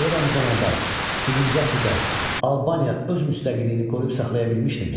Eramızdan əvvəl birinci əsrdə Albaniya öz müstəqilliyini qoruyub saxlaya bilmişdimi?